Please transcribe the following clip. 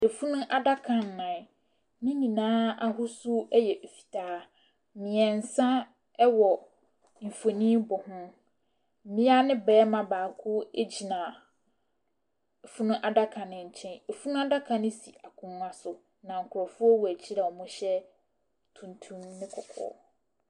Efunu adaka nnan, ne nyinaa ahosuo ɛyɛ fitaa, mmeɛnsa ɛwɔ mfonin bɔ ho. Bea ne bɛɛma baako egyina funu adaka ne nkyɛn. Efunu adaka ne si akonwa so na nkorɔfoɔ wɔ akyire a ɔmo hyɛ tuntum ne kɔkɔɔ.